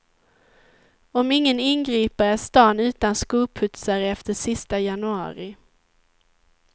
Om ingen ingriper är stan utan skoputsare efter sista januari.